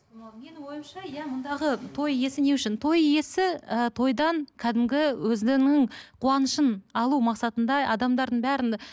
ы менің ойымша иә мұндағы той иесі не үшін той иесі і тойдан кәдімгі өзінің қуанышын алу мақсатында адамдардың бәрін